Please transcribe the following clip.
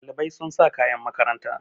Ɗalibai sun sa kayan makaranta